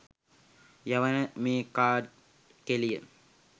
යවන මේ කාඩ් කෙළිය